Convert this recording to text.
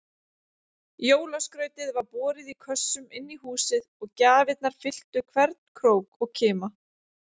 Jólaskrautið var borið í kössum inní húsið og gjafirnar fylltu hvern krók og kima.